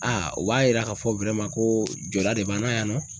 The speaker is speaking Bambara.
o b'a yira k'a fɔ koo jɔda de b'an na yan nɔ.